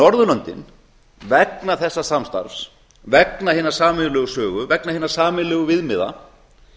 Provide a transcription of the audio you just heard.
norðurlöndin vegna þessa samstarfs vegna hinnar sameiginlegu sögu vegna hinna sameiginlegu viðmiða